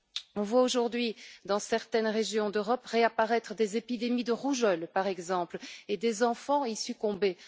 On voit aujourd'hui dans certaines régions d'Europe réapparaître des épidémies de rougeole, par exemple, et des enfants y succomber.